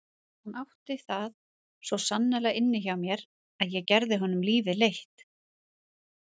Hann átti það svo sannarlega inni hjá mér að ég gerði honum lífið leitt.